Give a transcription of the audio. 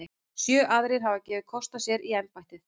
Sjö aðrir hafa gefið kost á sér í embættið.